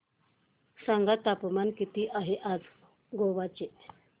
सांगा तापमान किती आहे आज गोवा चे